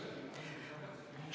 Tss!